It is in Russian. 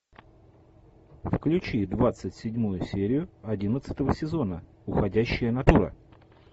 включи двадцать седьмую серию одиннадцатого сезона уходящая натура